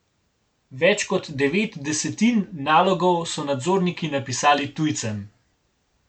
Več kot devet desetin nalogov so nadzorniki napisali tujcem.